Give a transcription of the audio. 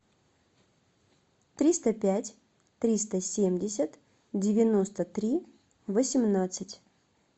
триста пять триста семьдесят девяносто три восемнадцать